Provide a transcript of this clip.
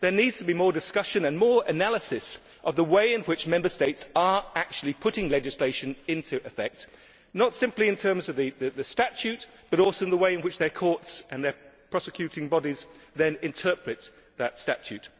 There needs to be more discussion and more analysis of the way in which Member States are actually putting legislation into effect, not simply in terms of the Statute, but also in the way in which their courts and their prosecuting bodies then interpret that Statute.